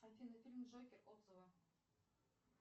афина фильм джокер отзывы